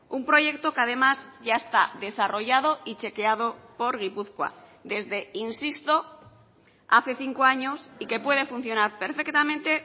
un proyecto que además ya está desarrollado y chequeado por gipuzkoa desde insisto hace cinco años y que puede funcionar perfectamente